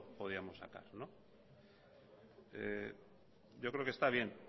podríamos sacar yo creo que está bien